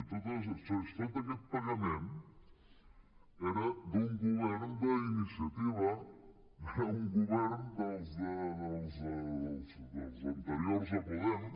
no però si tot aquest pagament era d’un govern d’iniciativa era un govern dels anteriors a podem